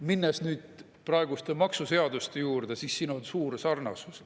Minnes nüüd praeguste maksuseaduste juurde, näeme, et siin on suur sarnasus.